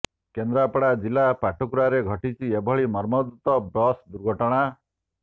କେନ୍ଦ୍ରାପଡା ଜିଲ୍ଲା ପାଟକୁରାରେ ଘଟିଛି ଏଭଳି ମର୍ମନ୍ତୁଦ ବସ ଦୁର୍ଘଟଣା